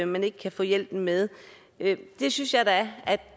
man ikke kan få hjælpen med det synes jeg da at vi